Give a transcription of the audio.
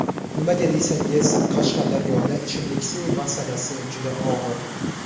Nimaga desangiz, Qashqadaryoda ichimlik suvi masalasi juda og‘ir.